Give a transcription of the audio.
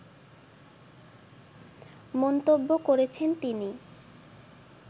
মন্তব্য করেছেন তিনি